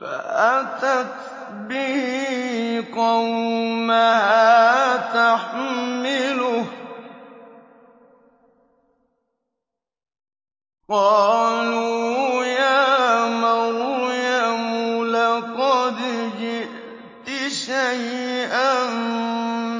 فَأَتَتْ بِهِ قَوْمَهَا تَحْمِلُهُ ۖ قَالُوا يَا مَرْيَمُ لَقَدْ جِئْتِ شَيْئًا